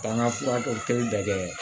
K'an ka fura kɛ u tɛ jate